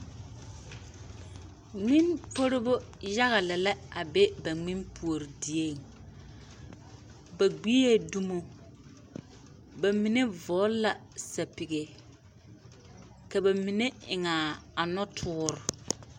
Ŋmenporebo yaga lɛ la a be ba ŋmenpuori dieŋ ba gbeɛ dumo ba mine vɔɔle la sapege ka bamine eŋaa a nɔtoore.